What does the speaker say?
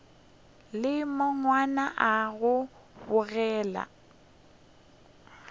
le mahlwana a go bogega